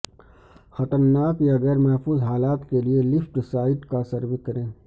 خطرناک یا غیر محفوظ حالات کے لئے لفٹ سائٹ کا سروے کریں